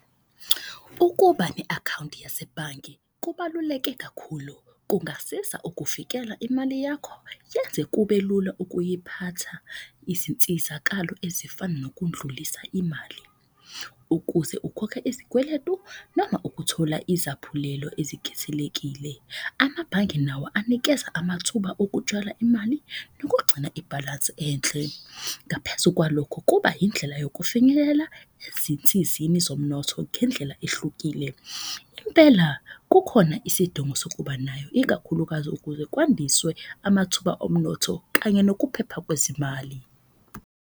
Ukuba ne-akhawunti yasebhange kubaluleke kakhulu kungasiza ukuvikela imali yakho, yenze kubelula ukuyiphatha. Izinsizakalo ezifana nokudlulisa imali ukuze ukhokhe izikweletu noma ukuthola izaphulelo ezikhethelekile. Amabhange nawo anikeza amathuba okutshala imali nokugcina ibhalansi enhle. Ngaphezu kwalokho, kuba yindlela yokufinyelela ezinsizini zomnotho ngendlela ehlukile. Impela kukhona isidingo sokuba nayo ikakhulukazi ukuze kwandiswe amathuba omnotho kanye nokuphepha kwezimali.